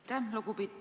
Aitäh!